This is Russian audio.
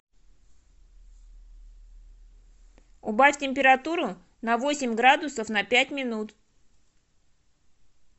убавь температуру на восемь градусов на пять минут